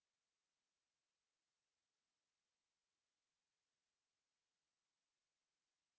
इससे पहले मैं केवल इसे एक else स्टेटमेंट के साथ समाप्त करता हूँ